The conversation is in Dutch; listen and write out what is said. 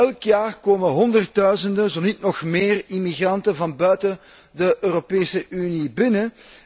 Elk jaar komen honderdduizenden, zo niet nog meer immigranten van buiten de Europese Unie binnen.